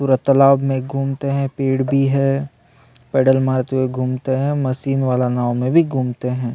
पूरा तालाब में घूमते है पेड़ भी है पैडल मारते हुए घूमते है मशीन वाला नाव में भी घूमते हैं।